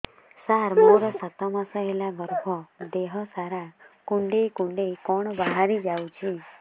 ସାର ମୋର ସାତ ମାସ ହେଲା ଗର୍ଭ ଦେହ ସାରା କୁଂଡେଇ କୁଂଡେଇ କଣ ବାହାରି ଯାଉଛି